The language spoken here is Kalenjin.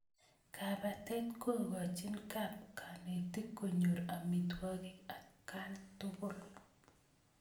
Kapatet kokochin kap kanetik konyor amitwogik atkaan tukul